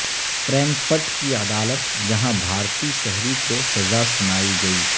Frankfurt کی عدالت جہاں بھارتی شہری کو سزا سنائی گئی